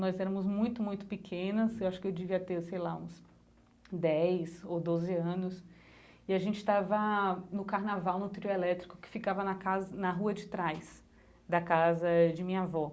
Nós éramos muito, muito pequenas, acho que eu devia ter sei lá uns dez ou doze anos, e a gente estava no Carnaval, no trio elétrico, que ficava na casa na rua de trás da casa de minha avó.